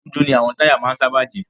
Dúdú ni àwọn táyà máa ń sábà jẹ́.